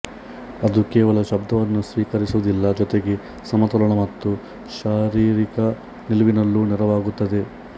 ಅದು ಕೇವಲ ಶಬ್ದವನ್ನು ಸ್ವೀಕರಿಸುವುದಿಲ್ಲ ಜೊತೆಗೆ ಸಮತೋಲನ ಮತ್ತು ಶಾರೀರಿಕ ನಿಲುವಿನಲ್ಲೂ ನೆರವಾಗುತ್ತದೆ